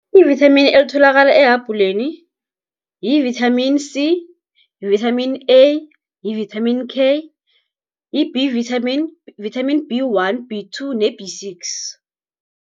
Ivithamini elitholakala ehabhuleni, yi-vitamin C, yi-vitamin A, yi-vitamin K, yi-B vitamin, vitamin B one, B two ne-B six.